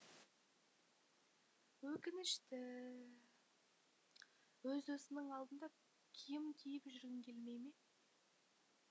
өкінішті өз досыңның алдында киім киіп жүргің келмей ме